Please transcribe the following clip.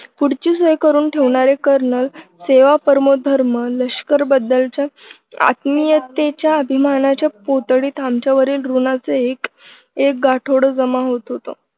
पुढची सोय करून ठेवणारे कर्नल सेवा परमोधर्म लष्कर बद्दलच्या आत्मीयतेच्या अभिमानाच्या पुतळीत आमच्यावरील ऋणाचे एक एक गाठोडं जमा होत होत.